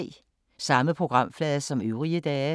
Samme programflade som øvrige dage